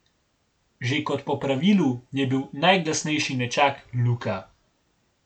Že kot po pravilu je bil najglasnejši nečak Luka.